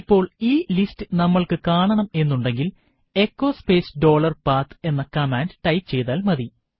ഇപ്പോൾ ഈ ലിസ്റ്റ് നമ്മൾക്ക് കാണണം എന്നുണ്ടെങ്കിൽ എച്ചോ സ്പേസ് ഡോളർപാത്ത് എന്ന കമാൻഡ് ടൈപ്പു ചെയ്താൽ മതി